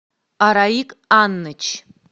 араик анныч